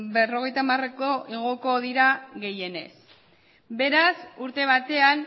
berrogeita hamareko igoko dira gehienez beraz urte batean